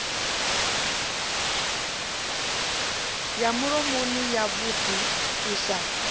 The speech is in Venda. ya mulomoni yavhuḓi u sa